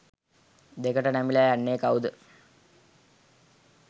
දෙකට නැමිලා යන්නේ කවුද?